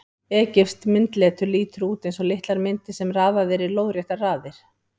Egypskt myndletur lítur út eins og litlar myndir sem raðað er í lóðréttar raðir.